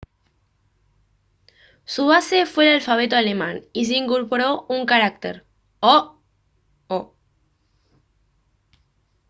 su base fue el alfabeto alemán y se incorporó un carácter: «õ/ õ»